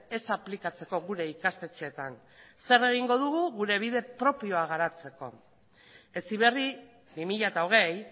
ez aplikatzeko gure ikastetxeetan zer egingo dugu gure bide propioa garatzeko heziberri bi mila hogei